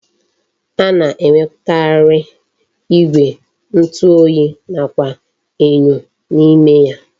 A na-enwekwara igwe ntu oyi nakwa enyo n'ime ya.